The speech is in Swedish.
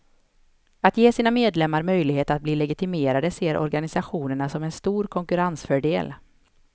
Att ge sina medlemmar möjlighet att bli legitimerade ser organisationerna som en stor konkurrensfördel.